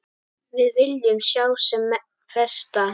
Við viljum sjá sem flesta.